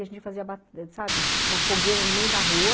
E a gente fazia, sabe, uma fogueira no meio da rua.